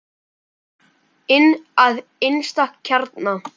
Inn að innsta kjarna.